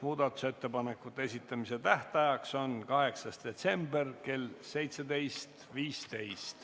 Muudatusettepanekute esitamise tähtajaks on 8. detsember kell 17.15.